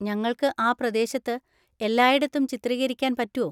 ഞങ്ങൾക്ക് ആ പ്രദേശത്ത് എല്ലായിടത്തും ചിത്രീകരിക്കാൻ പറ്റോ?